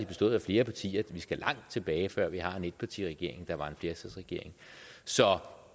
bestået af flere partier vi skal langt tilbage før vi har en etpartiregering der var en flertalsregering så